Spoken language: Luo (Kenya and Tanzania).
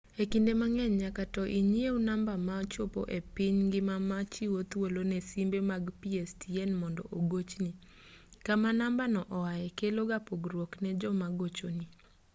e kinde mang'eny nyaka to inyiew namba ma chopo e piny ngima machiwo thuolo ne simbe mag pstn mondo ogochni kama namba no oae kelo ga pogruok ne joma gochoni